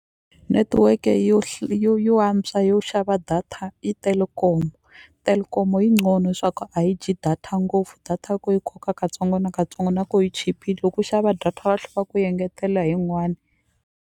Netiweke yo yo yo antswa yo xava data i Telkom, Telkom yi swa ku a yi dyi data ngopfu data ya ko yi koka katsongo na katsongo na ko yi chipile loko u xava data va tlhe va ku yengetelela hi yin'wani.